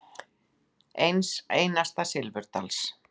Eins einasta silfurdals.